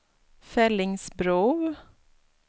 Fellingsbro